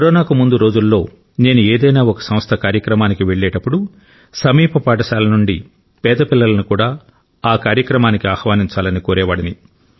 కరోనాకు ముందు రోజులలో నేను ఏదైనా ఒక సంస్థ కార్యక్రమానికి వెళ్ళేటప్పుడు సమీప పాఠశాలల నుండి పేద పిల్లలను కూడా ఆ కార్యక్రమానికి ఆహ్వానించాలని కోరేవాడిని